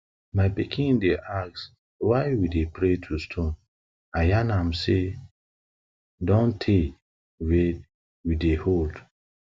my pikin dey ask why we dey pray to stone i yan am say na say na don tey we dey hold